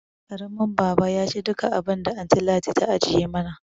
Karamin baba yaci duka abinda anty Ladi ta ajiye mana